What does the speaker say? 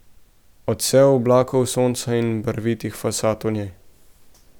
Odsev oblakov, sonca in barvitih fasad v njej ...